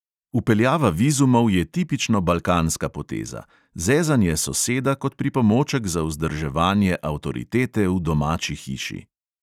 Vpeljava vizumov je tipično balkanska poteza: zezanje soseda kot pripomoček za vzdrževanje avtoritete v domači hiši.